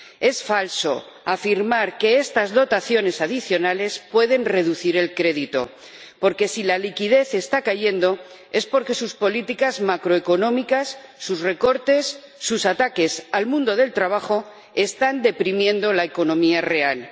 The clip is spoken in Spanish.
Es falso afirmar que estas dotaciones adicionales pueden reducir el crédito porque, si la liquidez está cayendo, es porque sus políticas macroeconómicas, sus recortes, sus ataques al mundo del trabajo, están deprimiendo la economía real.